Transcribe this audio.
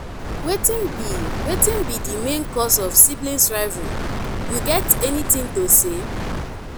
wetin be wetin be di main cause of siblings rivalry you get anything to say?